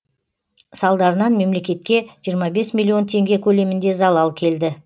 салдарынан мемлекетке жиырма бес миллион теңге көлемінде залал келді